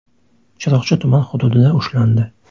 Chiroqchi tuman hududida ushlandi.